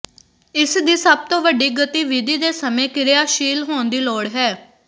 ਇਸ ਦੀ ਸਭ ਤੋਂ ਵੱਡੀ ਗਤੀਵਿਧੀ ਦੇ ਸਮੇਂ ਕਿਰਿਆਸ਼ੀਲ ਹੋਣ ਦੀ ਲੋੜ ਹੈ